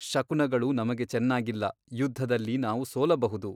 ಶಕುನಗಳು ನಮಗೆ ಚೆನ್ನಾಗಿಲ್ಲ ಯುದ್ಧದಲ್ಲಿ ನಾವು ಸೋಲಬಹುದು.